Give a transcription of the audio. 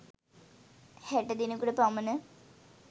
හැට දෙනෙකුට පමණ